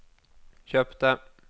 kjøpte